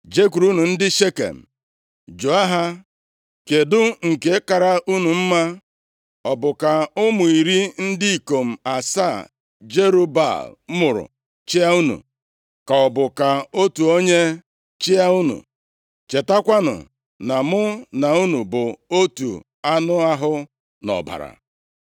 “Jekwurunụ ndị Shekem jụọ ha, ‘Kedụ nke kara unu mma: ọ bụ ka ụmụ iri ndị ikom asaa Jerub-Baal mụrụ chịa unu, ka ọ bụ ka otu onye chịa unu?’ Chetakwanụ na mụ na unu bụ otu anụ ahụ na ọbara.”